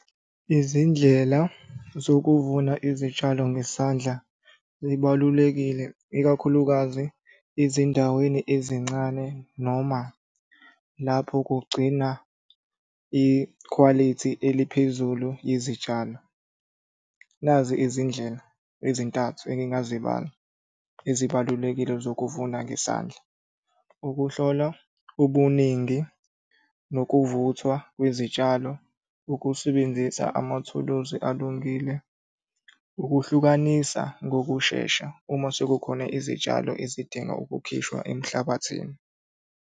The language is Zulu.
Izindlela zokuvuna izitshalo ngesandla zibalulekile, ikakhulukazi ezindaweni ezincane, noma lapho kugcina ikhwalithi eliphezulu yizitshalo. Nazi izindlela ezintathu engingazibala ezibalulekile zokuvuna ngesandla. Ukuhlolwa ubuningi nokuvuthwa kwenzitshalo, ukusebenzisa amathuluzi alungile, ukuhlukanisa ngokushesha uma sekukhona izitshalo izidinga ukukhishwa emhlabathini.